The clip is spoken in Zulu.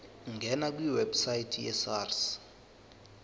ngena kwiwebsite yesars